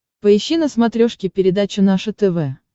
поищи на смотрешке передачу наше тв